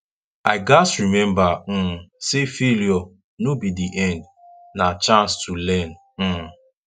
i gats remember um say failure no be the end na chance to learn um